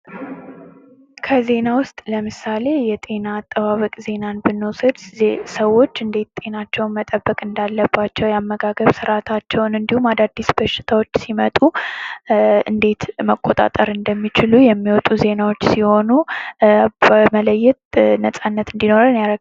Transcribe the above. ከዜና ዉስጥ ለምሳሌ የጤና አጠባበቅ ዜናን ብንወስድ ሰዎች እንዴት ጥናቸዉን መጠበቅ እንዳለባቸዉ የአመጋገብ ስርዓታቸዉን እንዲሁም አዳዲስ በሽታዎች ሲመጡ እንዴት መቆጣጠር እንደሚችሉ የሚወጡ ዜናዎች ሲሆኑ በመለየት ነፃነት እንዲኖረን ያደርጋል።